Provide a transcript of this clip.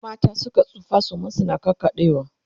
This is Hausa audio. in mata Suka tsufa suman su na ƙaƙaɗewa